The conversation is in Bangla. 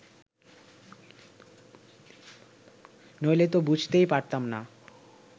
নইলে তো বুঝতেই পারতাম না